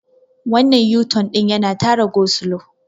wannan yuton din yana Tara gosulo